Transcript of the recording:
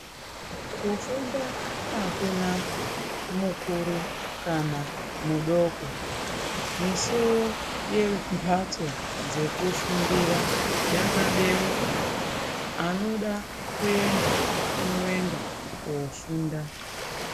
Kufunda akuna mukuru kana mudoko. Misuwo yemhatso dzekufundira yakabeuka, anoda kuenda, unoenda koofunda.